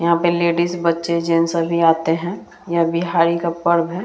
यहाँ पे लेडिस बच्चे जेंट्स सभी आते हैं यह बिहारी का पर्व है।